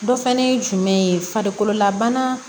Dɔ fɛnɛ ye jumɛn ye farikololabana